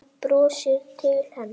Hann brosir til hennar.